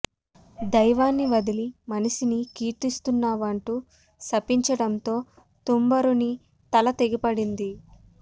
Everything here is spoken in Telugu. దైవాన్ని వదిలి మనిషిని కీర్తిస్తున్నావంటూ శపించడంతో తుంబురుని తల తెగి పడింది